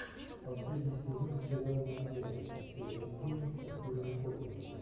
последний сезон сериал нат гео настоящий гений со стивеном хокингом